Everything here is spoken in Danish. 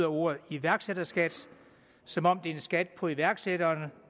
ordet iværksætterskat som om det er en skat på iværksætterne